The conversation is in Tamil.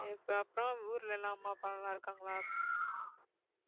இப்ப அப்புறம் ஊருலெல்லாம் அம்மா அப்பாலாம் நல்லாருக்காங்களா?